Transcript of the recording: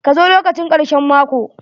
Ka zo lokacin karshen mako!